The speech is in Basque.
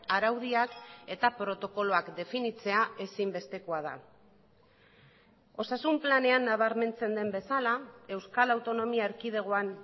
araudiak eta protokoloak definitzea ezinbestekoa da osasun planean nabarmentzen den bezala euskal autonomia erkidegoan